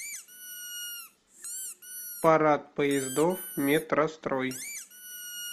парад поездов метрострой